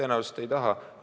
Tõenäoliselt ei taha.